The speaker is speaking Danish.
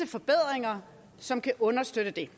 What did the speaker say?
forbedringer som kan understøtte det